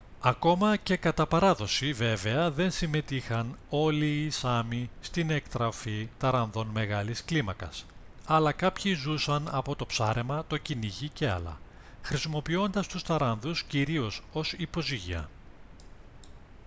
ακόμα και κατά παράδοση βέβαια δεν συμμετείχαν όλοι οι σάμι στην εκτροφή ταράνδων μεγάλης κλίμακας αλλά κάποιοι ζούσαν από το ψάρεμα το κυνήγι και άλλα χρησιμοποιώντας τους ταράνδους κυρίως ως υποζύγια